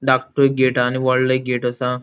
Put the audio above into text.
धाकटु एक गेट आ आणि वोडल एक गेट आसा.